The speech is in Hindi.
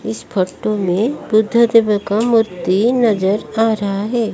इस फोटो में बुद्ध देव का मूर्ति नजर आ रहा है।